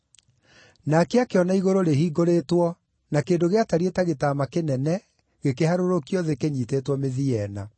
Nake akĩona igũrũ rĩhingũrĩtwo na kĩndũ gĩatariĩ ta gĩtama kĩnene gĩkĩharũrũkio thĩ kĩnyiitĩtwo mĩthia ĩna.